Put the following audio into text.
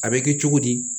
A bɛ kɛ cogo di